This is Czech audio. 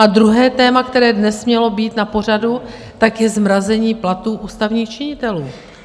A druhé téma, které dnes mělo být na pořadu, tak je zmrazení platů ústavních činitelů.